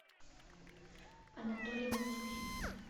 анатолий матюхин